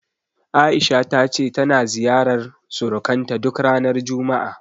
A'isha ta ce tana ziyarar surukanta duk ranar juma'a.